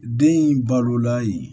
Den in balola yen